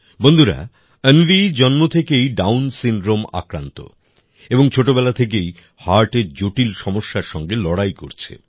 বন্ধুরা অন্বি জন্ম থেকেই ডাউন সিনড্রোমে আক্রান্ত এবং ছোটবেলা থেকেই হার্টের জটিল সমস্যার সঙ্গে লড়াই করছে